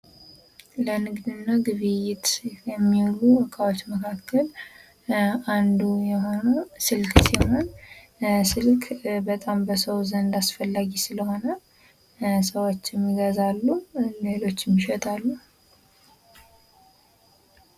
ለንግድና ግብይት የሚውሉ ዕቃዎች መካከል አንዱ የሆነው ስልክ ሲሆን፤ ስልክ እጅግ በጣም በሰው ዘንድ አስፈላጊ ስለሆነ ሰዎችም ይገዛሉ ሌሎችም ይሸጣሉ።